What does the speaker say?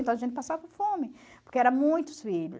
Então a gente passava fome, porque eram muitos filhos.